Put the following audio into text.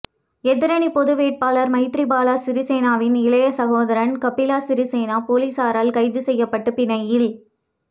எதிரணி பொது வேட்பாளர் மைத்திரிபால சிறிசேனவின் இளைய சகோதரன் கப்பில சிறிசேன பொலிஸாரால் கைது செய்யப்பட்டு பிணையில்